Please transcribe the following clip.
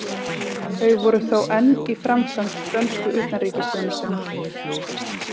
Þau voru þó enn í framkvæmd dönsku utanríkisþjónustunnar.